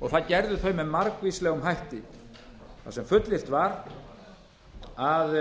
og það gerðu þau með margvíslegum hætti þar sem fullyrt var að